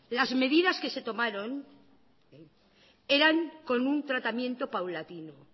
las medidas que se tomaron eran con un tratamiento paulatino